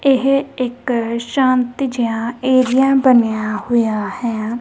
ਇਹ ਇੱਕ ਸ਼ਾਂਤ ਜਿਹਾ ਏਰੀਆ ਬਣਿਆ ਹੋਇਆ ਹੈ।